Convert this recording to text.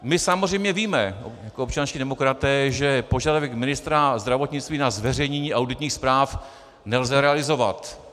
My samozřejmě víme jako občanští demokraté, že požadavek ministra zdravotnictví na zveřejnění auditních zpráv nelze realizovat.